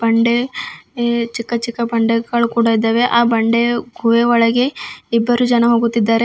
ಬಂಡೆ ಹೆ ಚಿಕ್ಕ ಚಿಕ್ಕ ಬಂಡೆಗಳ್ ಕೂಡ ಇದ್ದಾವೆ ಆ ಬಂಡೆ ಗುಹೆ ಒಳಗೆ ಇಬ್ಬರು ಜನ ಹೋಗುತ್ತಿದ್ದಾರೆ.